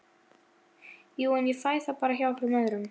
Jú- en ég fæ það bara hjá einhverjum öðrum